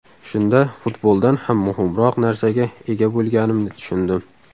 Shunda futboldan ham muhimroq narsaga ega bo‘lganimni tushundim.